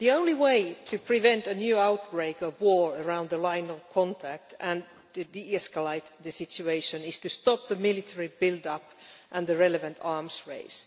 Madam President, the only way to prevent a new outbreak of war around the line of contact and de escalate the situation is to stop the military build up and the relevant arms race.